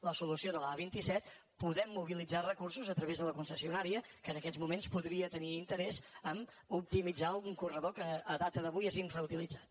la solució de l’a·vint set podem mobilitzar re·cursos a través de la concessionària que en aquests moments podria tenir interès a optimitzar un cor·redor que a data d’avui és infrautilitzat